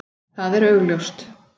Það er augljóst.